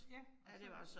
Ja, og så